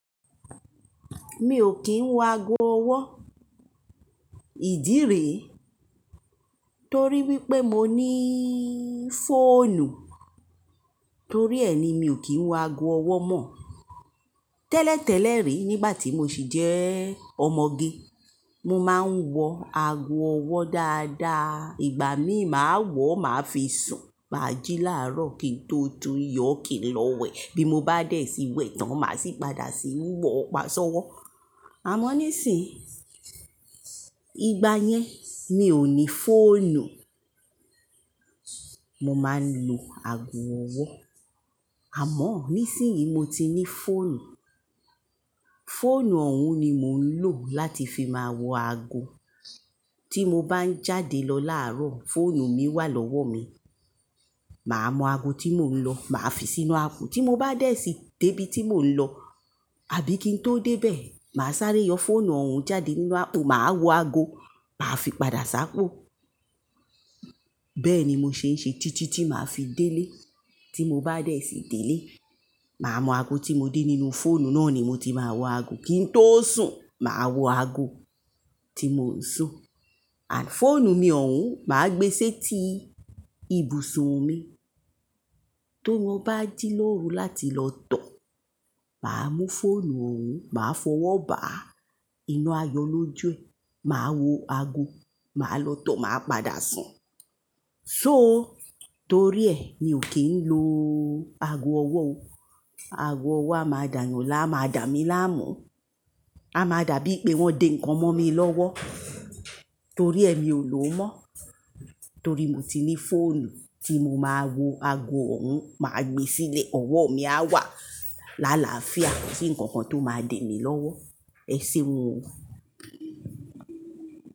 Mi o kín wọ ago ọwọ́, ìdí rẹ̀ torí wípé mo ní fónù. Torí ẹ ni mi ò kí ń wọ ago ọwọ́ mọ. Tẹ́lẹ̀tẹ́lẹ̀ rí nígbà tí mo sì jẹ́ ọmọge, mo máa ń wọ ago ọwọ́ dáadáa. Ìgbà mí máa wọ̀ máa fi sùn, máa jí láàárọ̀ kí n tó tú iyọ̀ kí n lọ wẹ̀. Bí mo bá dẹ̀ sí wẹ̀ tán máa sì padà sí ì wọ̀ pasọ́wọ́. Àmọ́ nísìínyi, ìgbà yẹn mi ò ní fóònù, mo máa ń lo ago ọwọ́. Àmọ́ nísìínyi mo ti ní fóònù. Fóònù ọ̀hún ni mò ń lò láti fi máa wọ ago. Tí mo bá ń jáde lọ làárọ̀, fóònù mi wá lọ́wọ́ mi. Mà á mọ ago tí mò ń lọ, mà á fi sínú aapo. Tí mo bá dẹ̀ sí dé ibi tí mò ń lọ àbí kí n tó dé bẹ̀, mà á sáré yọ fóònù ọ̀hún jáde nínú aapo, mà á wọ ago, mà á fi padà sákó. Bẹ́ẹ̀ ni mo ṣe ń ṣe títí tí mà á fi dé ilé. Tí mo bá dẹ̀ sí dé ilé, mà á mọ ago tí mo dé nínú fóònù náà ni mo ti máa wọ ago. Kí n tó sùn, mà á wọ ago tí mò ń sùn. Fóònù mi ọ̀hún, mà á gbé sí etí ibùsọ̀ mi. Tó mo bá jí lóru láti lọ tọ̀, mà á mú fóònù ọ̀hún, mà á fọwọ́ bà á inú ayọ̀ lójú ẹ. Mà á wọ ago, mà á lọ tọ̀, mà á padà sùn. So torí ẹ mi ò kí ń lo ago ọwọ́ o. Ago ọwọ́ a máa dànyàn lá, a máa dà mí láàmú. A máa dà bíi pé wọ́n dé ǹkan mọ́ mi lọ́wọ́. Torí ẹ mi ò lò ó mọ́. Torí mo ti ní fóònù tí mo máa wọ ago òun, mà á gbé sílé, ọwọ́ mi a wà lálàáfíà tí ǹkan kan tó máa dè mí lọ́wọ́. Ẹ ṣeun o.